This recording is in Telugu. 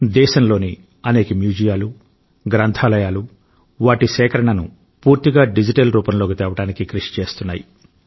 దేశంలోని అనేక మ్యూజియాలు గ్రంథాలయాలు వాటి సేకరణను పూర్తిగా డిజిటల్ రూపంలోకి తేవడానికి కృషి చేస్తున్నాయి